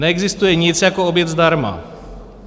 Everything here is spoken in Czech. "Neexistuje nic jako oběd zdarma.